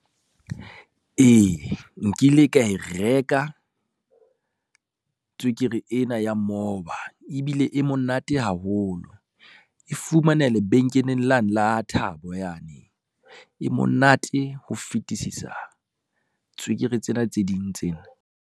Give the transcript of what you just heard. Ee nkile ka e reka tswekere ena ya moba ebile e monate haholo. E fumanea lebenkeleng lane la Thabo yane, e monate ho fetisisa tswekere tsena tse ding tsena.